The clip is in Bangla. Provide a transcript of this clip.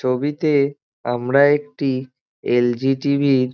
ছবিতে আমরা একটি এল. জি. টি. ভি. -র--